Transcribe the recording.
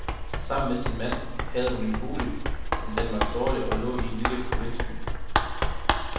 Sammen med sin mand havde hun en bolig, men den var dårlig og lå i en lille provinsby.